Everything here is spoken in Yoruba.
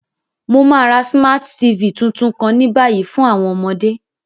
Mo ma ra Smart TV tuntun kan ni bayi fun àwọn ọmọde.